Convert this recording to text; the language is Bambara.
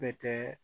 Bɛ kɛ